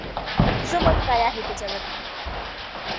तुझं मत काय आहे त्याच्यावरती?